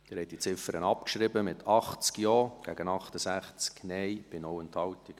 Sie haben diese Ziffer abgeschrieben, mit 80 Ja- gegen 68 Nein-Stimmen bei 0 Enthaltungen.